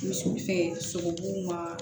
Misiw fɛ sogobuw ma